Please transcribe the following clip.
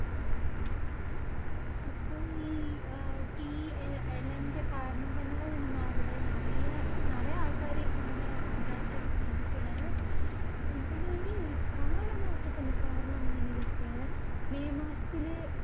അപ്പൊ ഈ അഹ് tea എലന്റെ കാരണംതന്നെ നിനിമാ അവടെ നെറയെ നാറയെ ആൾക്കാര് ഇതായിട്ട് ജീവിക്കണേ. ഉം പിന്നെ നിന്നി ഇതൊക്കെ. മെയ് മാസത്തില്